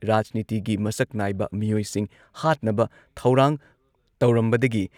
ꯔꯥꯖꯅꯤꯇꯤꯒꯤ ꯃꯁꯛ ꯅꯥꯏꯕ ꯃꯤꯑꯣꯏꯁꯤꯡ ꯍꯥꯠꯅꯕ ꯊꯧꯔꯥꯡ ꯇꯧꯔꯝꯕꯗꯒꯤ